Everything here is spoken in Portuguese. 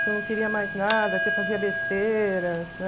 Que eu não queria mais nada, que eu fazia besteira